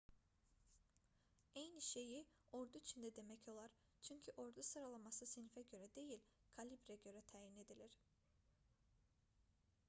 eyni şeyi ordu üçün də demək olar çünki ordu sıralaması sinifə görə deyil kalibrə görə təyin edilirdi